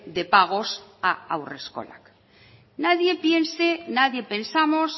de pagos a haurreskolak nadie piense nadie pensamos